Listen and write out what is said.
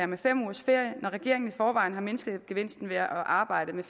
med fem ugers ferie når regeringen i forvejen har mindsket gevinsten ved at arbejde det